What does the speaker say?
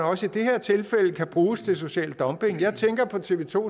også i det her tilfælde kan bruges til social dumping jeg tænker på tv to